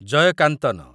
Jayakanthan